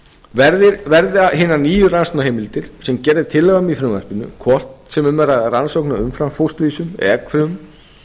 verði hinar nýju rannsóknarheimildir sem gerð er tillaga um í frumvarpinu hvort sem um er að ræða rannsóknir á umframfósturvísum eða eggfrumum